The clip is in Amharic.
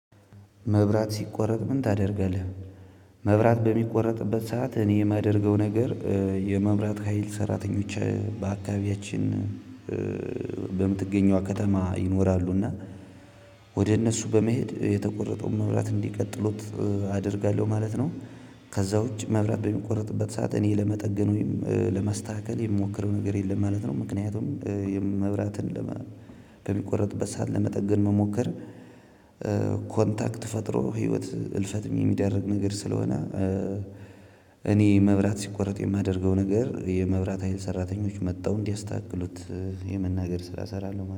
መብራት ሲቆረጥ ምን ታደርጋለህ? መብራት በሚቆረጥበት ሰዓት እኔ የማደርገው ነገር። የመብራት ሀይል ሰራተኞች በአካባቢያችን። በምትገኘው ከተማ ይኖራሉና እና ወደ እነሱ በመሄድ የተቆረጠውን መብራት እንዲቀጥሉት አደርጋለሁ ማለት ነው። ከዛ ውጪ መብራት በሚቆረጥበት ሰዓት እኔ ለመጠገን ወይም ለማስተካከል የምሞክረው ነገር የለም ማለት ነው። ምክንያቱም የመብራትን በሚቆረጥበት ሰዓት ለመጠገን መሞከር ኮንታክት ፈጥሮ ህይወት እልፈትም የሚዳርግ ነገር ስለሆነ። እኔ መብራት ሲቆረጥ የማደርገው ነገር የመብራት ሀይል ሰራተኞች መተው እንዲያስተካክሉት የመናገር ስራ እሰራለሁ